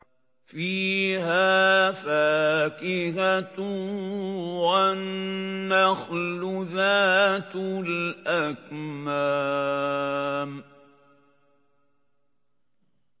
فِيهَا فَاكِهَةٌ وَالنَّخْلُ ذَاتُ الْأَكْمَامِ